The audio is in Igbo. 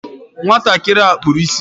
Nwatakịrị ahụ kpuru ịsị